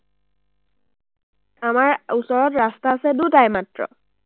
আমাৰ ওচৰত ৰাস্তা আছে দুটাই মাত্ৰ।